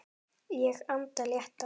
Ég anda léttar.